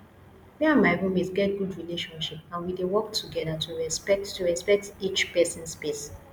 me and my roommate get good relationship and we dey work together to respect to respect each pesin space